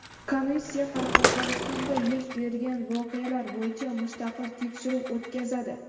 Komissiya Qoraqalpog‘istonda yuz bergan voqealar bo‘yicha mustaqil tekshiruv o‘tkazadi.